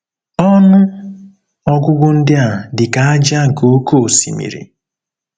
Ọnụ ọgụgụ ndị a dị ka ájá nke oké osimiri. ”